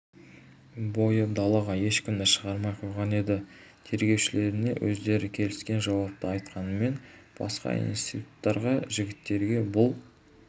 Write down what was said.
бойы далаға ешкімді шығармай қойған еді тергеушілеріне өздері келіскен жауапты айтқанымен басқа институттағы жігіттерге бұл